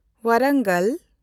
Warangal